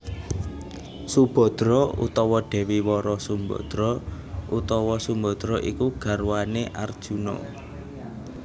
Subhadra utawa Dewi Wara Sumbadra utawa Sembadra iku garwané Arjuna